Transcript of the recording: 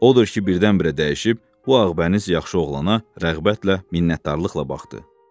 Odur ki, birdən-birə dəyişib, bu ağbəniz, yaxşı oğlana rəğbətlə, minnətdarlıqla baxa bilmədi.